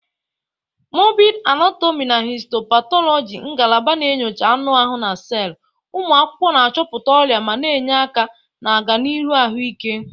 Morbidi anatomi na Histopatologi ngalaba na-enyocha anụ ahụ na sel, ụmụ akwụkwọ na-achọpụta ọrịa ma na-enye aka na ọganihu ahụike.